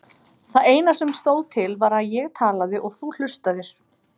Það eina sem stóð til var að ég talaði og þú hlustaðir.